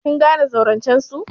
Kin gane zaurancen su?